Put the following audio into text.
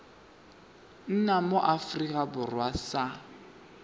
nna mo aforika borwa sa